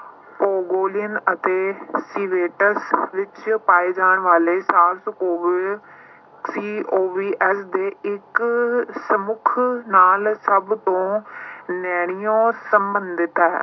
ਪੋਗੋਲੀਅਨ ਅਤੇ ਵਿੱਚ ਪਾਏ ਜਾਣ ਵਾਲੇ COVS ਦੇ ਇੱਕ ਸਮੁੱਖ ਨਾਲ ਸਭ ਤੋਂ ਨੈਣੀਓ ਸੰਬੰਧਿਤ ਹੈ।